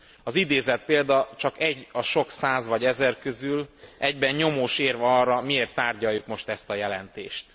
Az idézett példa csak egy a sok száz vagy ezer közül, egyben nyomós érv arra, miért tárgyaljuk most ezt a jelentést.